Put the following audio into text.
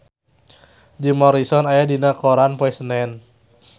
Jim Morrison aya dina koran poe Senen